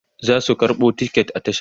zasu karɓo ticket a tasha